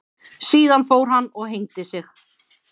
Síðan fór hann og hengdi sig.